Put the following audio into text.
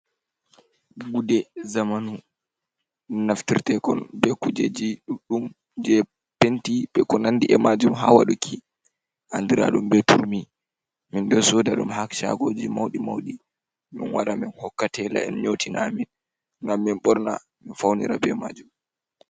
Gude zamanu naftirtekon be kujeji ɗuɗɗum jei penti be ko nandi e majum ha waɗuki andira ɗum be turmi, min ɗo sooda ɗum ha shaagoji mauɗi mauɗi, min wara min hokka teela en nyotina amin ngam min ɓorna min faunira be majum.